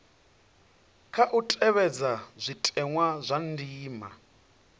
khou tevhedzwa zwitenwa zwa ndima